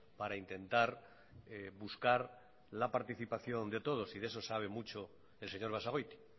para intentar buscar la participación de todos y de eso sabe mucho el señor basagoiti